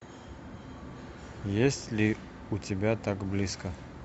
есть ли у тебя так близко